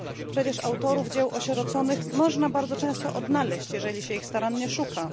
Przecież autorów dzieł osieroconych można bardzo często odnaleźć, jeżeli się ich starannie szuka.